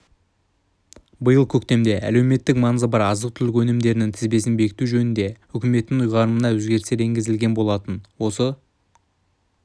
биыл көктемде әлеуметтік маңызы бар азық-түлік өнімдерінің тізбесін бекіту жөнінде үкіметтің ұйғарымына өзгерістер енгізілген болатын осы